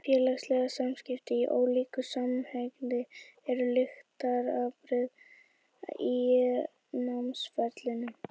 Félagsleg samskipti, í ólíku samhengi, eru lykilatriði í námsferlinu.